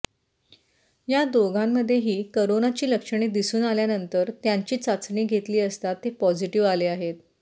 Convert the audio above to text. या दोघांमध्येही करोनाची लक्षणे दिसून आल्यानंतर त्यांची चाचणी घेतली असता ते पॉझिटिव्ह आले आहेत